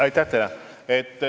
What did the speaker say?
Aitäh teile!